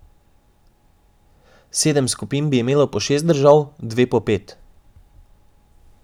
Sedem skupin bi imelo po šest držav, dve po pet.